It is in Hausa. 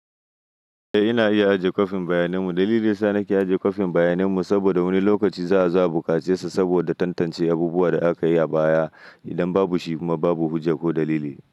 Eh ina iya ajiye kwafin bayanin mu. Dalili yasa nake ajiye kwafin bayanin mu saboda wani lokaci za a zo a bukace sa saboda tantance abubuwan da aka yi a baya. Idan babu shi kuma babu hujja ko dalili.